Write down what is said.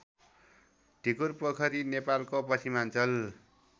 ढिकुरपोखरी नेपालको पश्चिमाञ्चल